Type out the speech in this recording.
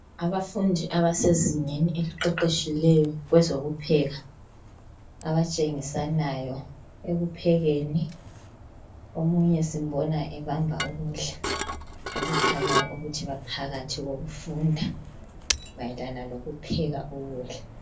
Abafundi abasezingeni eliqeqetshileyo kwezokupheka. Abatshengisanayo ekuphekeni omunye simbona ebamba ukudla okukhanyayo ukuthi baphakathi kokufunda mayelana ngokupheka ukudla.